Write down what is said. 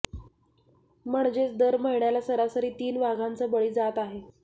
म्हणजेच दर महिन्याला सरासरी तीन वाघांचा बळी जात आहे